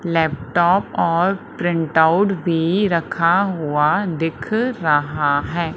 Laptop और printout भी रखा हुआ दिख रहा है।